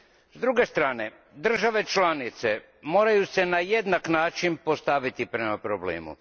S druge strane, države članice moraju se na jednak način postaviti prema problemu.